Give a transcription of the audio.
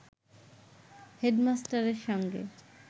হেডমাস্টারের সঙ্গে